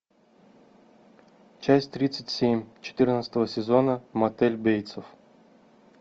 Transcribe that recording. часть тридцать семь четырнадцатого сезона мотель бейтса